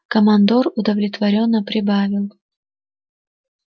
командор удовлетворённо прибавил